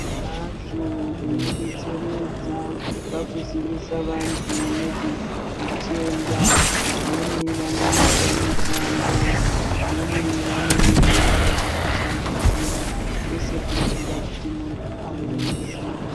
Hazvo zvinodetseredza pakuzivisa vantu nezvezvitenda vamweni vanoita mitambo vamweni vanenge veyiita zvekushambadzira kwese kurikuda kuti muntu ave neruzivo.